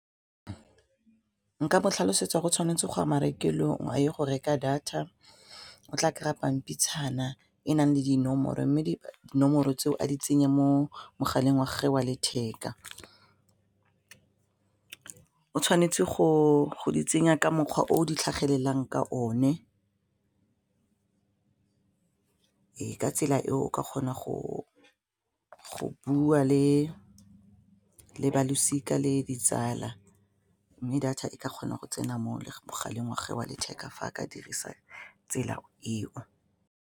Nka mo tlhalosetsa go tshwanetse go a marekelong a ye go reka data o tla kry-a pampitshana e nang le dinomoro mme dinomoro tseo a di tsenye mo mogaleng wa gage wa letheka, o tshwanetse go di tsenya ka mokgwa o di tlhagelelang ka o ne ka tsela eo o ka kgona go bua le balosika le ditsala mme data e ka kgona go tsena mo mogaleng wa gage wa letheka fa a ka dirisa tsela eo.